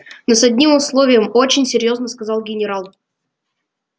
но с одним условием очень серьёзно сказал генерал